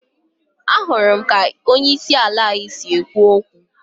Ahụrụ m ka onye isi ala anyị si ekwu okwu